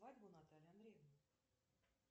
свадьбу натальи андреевны